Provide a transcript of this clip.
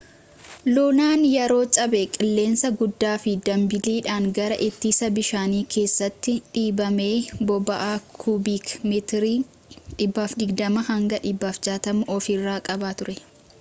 lunaan yeroo cabee qilleensa guddaafi dambaliidhaan gara ittisa bishaanii keessatti dhiibame boba'aa kubiik metirii 120-160 of irraa qaba ture